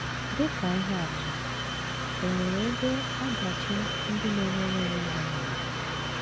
Dị ka ihe atụ, è nwere ebe ọdachi ndị na - emere onwe ha mere?